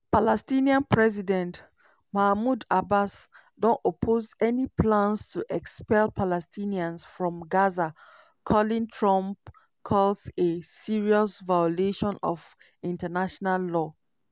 palestinian president mahmoud abbas don oppose any plans to expel palestinians from gaza calling trump calls a "serious violation of international law".